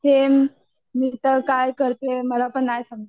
same मी तर काय करतेय मला पण नाही समजत आहे